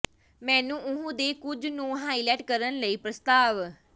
ਮੈਨੂੰ ਉਹ ਦੇ ਕੁਝ ਨੂੰ ਹਾਈਲਾਈਟ ਕਰਨ ਲਈ ਪ੍ਰਸਤਾਵ